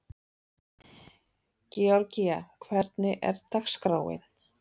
Georgía, hvernig er dagskráin?